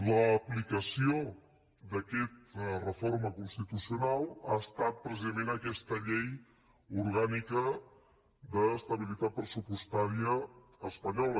l’aplicació d’aquesta reforma constitucional ha estat precisament aquesta llei orgànica d’estabilitat pressupostària espanyola